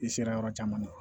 I sera yɔrɔ caman na